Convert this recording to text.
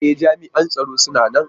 E! jam'ian tsaro suna nan.